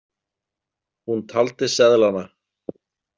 Hún taldi seðlana.